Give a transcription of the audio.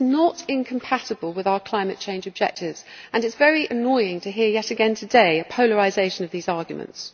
This is not incompatible with our climate change objectives, and it is very annoying to hear yet again today a polarisation of these arguments.